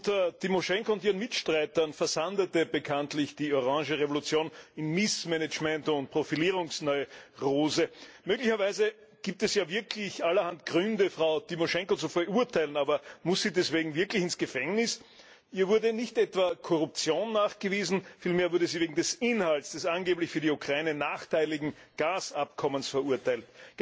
Unter Tymoschenko und ihren Mitstreitern versandete bekanntlich die Orange Revolution in Missmanagement und Profilierungsneurose. Möglicherweise gibt es ja wirklich allerhand Gründe, Frau Tymoschenko zu verurteilen, aber muss sie deswegen wirklich ins Gefängnis? Ihr wurde nicht etwa Korruption nachgewiesen, vielmehr wurde sie wegen des Inhalts des angeblich für die Ukraine nachteiligen Gasabkommens verurteilt.